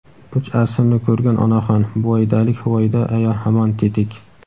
Uch asrni ko‘rgan onaxon: Buvaydalik Huvaydo aya hamon tetik.